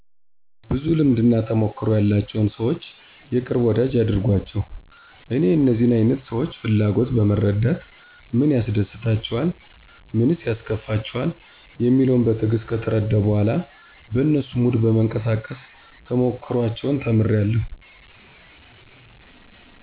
ብዙ ልምድና ተሞክሮ ያላቸውን ሰዎች የቅርብ ወዳጂ ያድርጓቸው። እኔ የእነዚህን አይነት ሰዎች ፍላጎት በመረዳት ምን ያስደስታቸዋል? ምንስ ያስከፋቸዋል? የሚለውን በትዕግስት ከተረዳሁ በኋላ በነሱ ሙድ በመንቀሳቀስ ተሞክሮአቸውን ተምሬአለሁ።